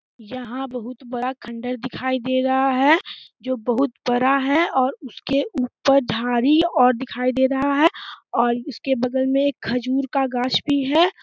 यहाँ बहुत बड़ा खंडहर दिखाई दे रहा है > जो बहुत बड़ा है > और उसके ऊपर झाड़ी और दिखाई दे रहा है और उसके बगल में एक खजूर का गाछ भी है।